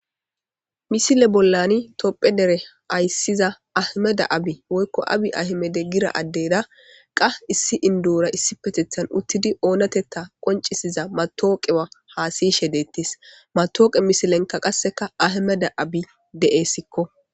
Misile bollani topphe dere ayissiza ahmeda abi woykko abi ahmede gida addeda qa issi indoora issipetethan uttidi oonatetta qoncisiza matawuqewa haasiyshe deettees. Matawuqe misilenka qasseka ahmeda abi de7eessikko.